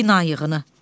Bina yığını.